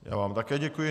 Já vám také děkuji.